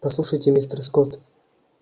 послушайте мистер скотт